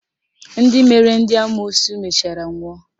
Ndị mere ndị amoosu mechara nwụọ